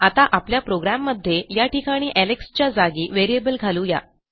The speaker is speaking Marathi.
आता आपल्या प्रोग्रॅममध्ये या ठिकाणी एलेक्स च्या जागी व्हेरिएबल घालू या